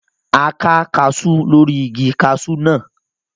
A ká kaasú lórí igi kaasú náà